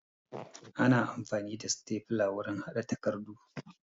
Ana amfani da stafla wurin haɗa takardu